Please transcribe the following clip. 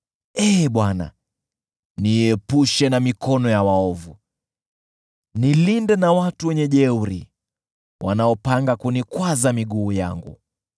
Ee Bwana , niepushe na mikono ya waovu; nilinde na watu wenye jeuri wanaopanga kunikwaza miguu yangu.